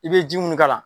I bɛ ji mun k'a la